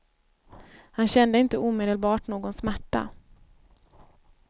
Han kände inte omedelbart någon smärta.